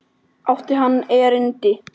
Átti hann erindi við mig?